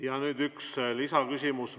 Ja nüüd üks lisaküsimus.